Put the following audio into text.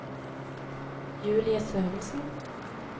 Julie Sørensen